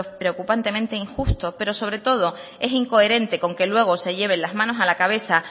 preocupantemente injusto pero sobre todo es incoherente con que luego se lleven las manos a la cabeza